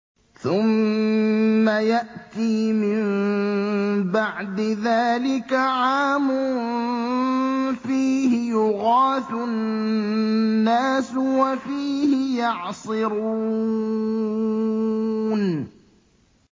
ثُمَّ يَأْتِي مِن بَعْدِ ذَٰلِكَ عَامٌ فِيهِ يُغَاثُ النَّاسُ وَفِيهِ يَعْصِرُونَ